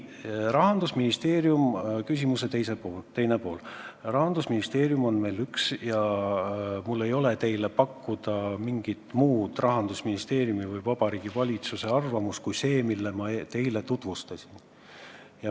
Mis puutub küsimuse teise poolde, siis Rahandusministeerium on meil üks ja mul ei ole teile pakkuda mingit muud Rahandusministeeriumi või Vabariigi Valitsuse arvamust kui see, mida ma teile tutvustasin.